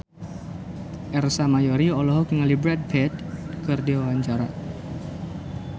Ersa Mayori olohok ningali Brad Pitt keur diwawancara